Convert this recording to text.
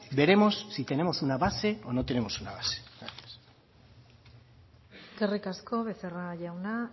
veremos si tenemos una base o no tenemos una base gracias eskerrik asko becerra jauna